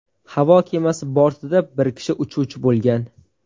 Havo kemasi bortida bir kishi uchuvchi bo‘lgan.